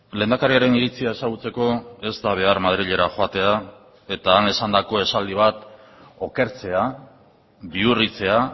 lehendakariaren iritzia ezagutzeko ez da behar madrilera joatea eta han esandako esaldi bat okertzea bihurritzea